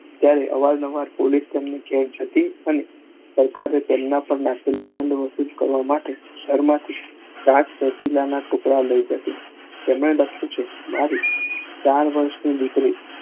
ત્યારે આવાજ જેમ છતી અને સરકારે તેમના પણ દંડ વસુલવા માટે ઘરમાં થી કરવા માટે લઇ જતી તેમના લખ્યું છે મારે